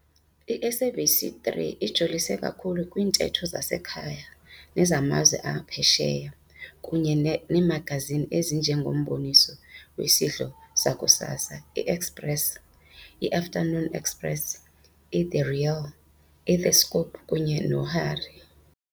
I-SABC 3 ijolise kakhulu kwiintetho zasekhaya nezamazwe aphesheya kunye neemagazini ezinje ngomboniso wesidlo sakusasa i-Expresso, i-Afternoon Express, i-The Real, i The Scoop kunye no Harry